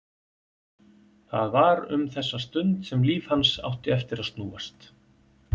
Það var um þessa stund sem líf hans átti eftir að snúast.